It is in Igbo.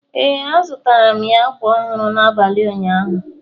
ee, azụtara m ya ákwà ọhụrụ n’abalị ụnyaahụ